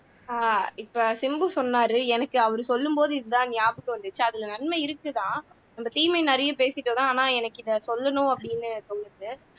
ஆஹ் இப்போ சிம்பு சொன்னாரு எனக்கு அவரு சொல்லும்போது இதுதான் நியாபகம் வந்துச்சு அதுல நன்மை இருக்குதான் அந்த தீமை நிறைய பேசிட்டோம்